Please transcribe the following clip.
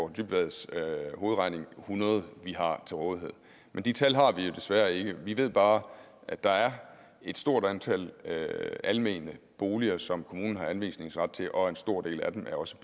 dybvads hovedregning hundrede vi har til rådighed men de tal har vi jo desværre ikke vi ved bare at der er et stort antal almene boliger som kommunen har anvisningsret til og at en stor del af dem også